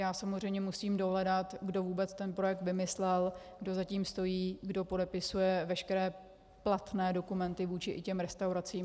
Já samozřejmě musím dohledat, kdo vůbec ten projekt vymyslel, kdo za tím stojí, kdo podepisuje veškeré platné dokumenty vůči těm restauracím.